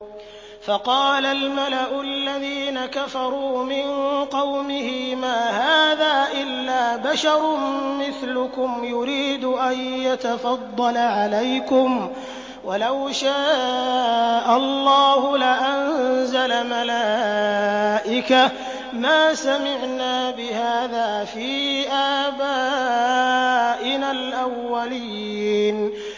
فَقَالَ الْمَلَأُ الَّذِينَ كَفَرُوا مِن قَوْمِهِ مَا هَٰذَا إِلَّا بَشَرٌ مِّثْلُكُمْ يُرِيدُ أَن يَتَفَضَّلَ عَلَيْكُمْ وَلَوْ شَاءَ اللَّهُ لَأَنزَلَ مَلَائِكَةً مَّا سَمِعْنَا بِهَٰذَا فِي آبَائِنَا الْأَوَّلِينَ